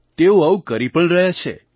તેઓ આવું કરી પણ રહ્યા છે